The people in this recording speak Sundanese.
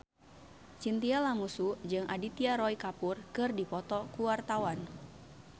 Chintya Lamusu jeung Aditya Roy Kapoor keur dipoto ku wartawan